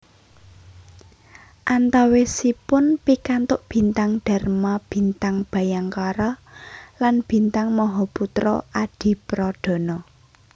Antawisipun pikantuk Bintang Dharma Bintang Bhayangkara lan Bintang Mahaputra Adipradana